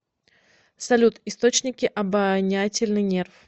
салют источники обонятельный нерв